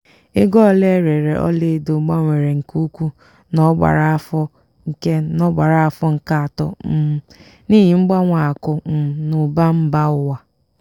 ego ole erere ọla edo gbanwere nke ukwuu n'ogbara afọ nke n'ogbara afọ nke atọ um n'ihi mgbanwe akụ um na ụba mba ụwa.